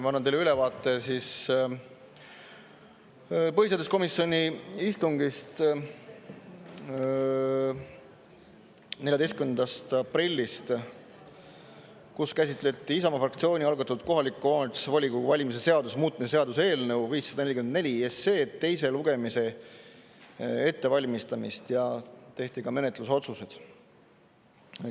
Ma annan teile ülevaate põhiseaduskomisjoni istungist 14. aprillist, kus käsitleti Isamaa fraktsiooni algatatud kohaliku omavalitsuse volikogu valimise seaduse muutmise seaduse eelnõu 544 teise lugemise ettevalmistamist ja tehti ka menetlusotsused.